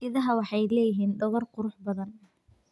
Idaha waxay leeyihiin dhogor qurux badan.